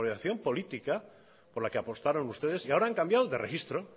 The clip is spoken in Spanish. por la que apostaron ustedes y ahora han cambiado de registro